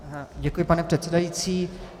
Děkuji, pane předsedající.